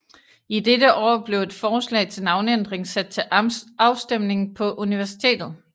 I dette år blev et forslag til navneændring sat til afstemning på universitetet